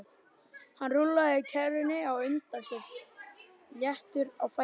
Hann rúllaði kerrunni á undan sér léttur á fæti.